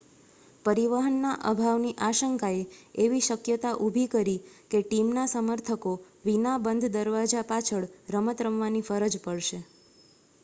પરિવહનના અભાવની આશંકાએ એવી શક્યતા ઊભી કરી કે ટીમના સમર્થકો વિના બંધ દરવાજા પાછળ રમત રમવાની ફરજ પડશે